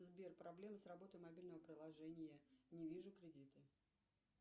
сбер проблемы с работой мобильного приложения не вижу кредиты